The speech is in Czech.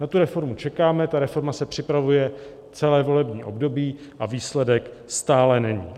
Na tu reformu čekáme, ta reforma se připravuje celé volební období, a výsledek stále není.